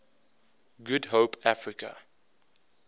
good hope africa